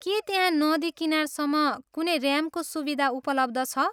के त्यहाँ नदी किनारसम्म कुनै ऱ्याम्पको सुविधा उपलब्ध छ?